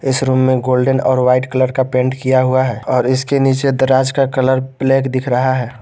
इस रूम में गोल्डन और वाइट कलर का पेंट किया हुआ है और इसके नीचे दराज का कलर ब्लैक दिख रहा है।